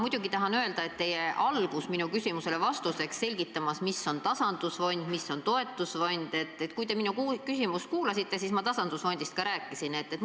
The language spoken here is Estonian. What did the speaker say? Ma tahan öelda, et kui te alustasite minu küsimusele vastamist selgitusega, mis on tasandusfond ja mis on toetusfond, siis sellest võiks küsijale jääda mulje, et vastaja ei valda teemat.